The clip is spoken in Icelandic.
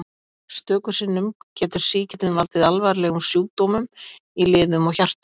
Stöku sinnum getur sýkillinn valdið alvarlegum sjúkdómum í liðum og hjarta.